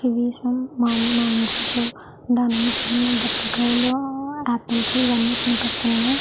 Kiwis mangoes దానిమ్మకాయలు బత్తాయి కాయలు ఆపిల్స్ ఇవి అన్ని కనిపిస్తున్నాయి .